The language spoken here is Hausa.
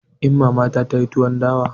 Inna ta ta yi tuwon dawa.